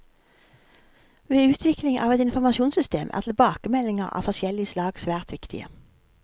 Ved utvikling av et informasjonssystem er tilbakemeldinger av forskjellig slag svært viktige.